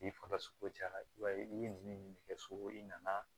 K'i faga sogo ja i b'a ye i ye nin de kɛ sogo in nana